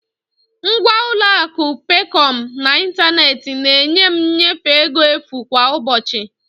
Ngwa ụlọ akụ Peekọm n'ịntanetị na-enye m nnyefe ego efu kwa ụbọchị.